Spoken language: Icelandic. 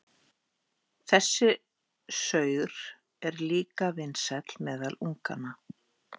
Þessi saur er líka vinsæll meðal unganna.